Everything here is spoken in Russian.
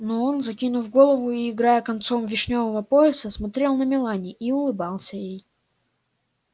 но он закинув голову и играя концом вишнёвого пояса смотрел на мелани и улыбался ей